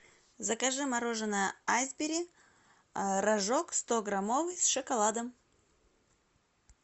закажи мороженое айсберри рожок стограммовый с шоколадом